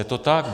Je to tak.